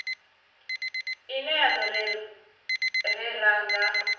ine ya do rera nga